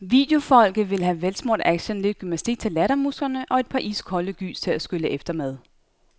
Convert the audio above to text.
Videofolket vil have velsmurt action, lidt gymnastik til lattermusklerne og et par iskolde gys til at skylle efter med.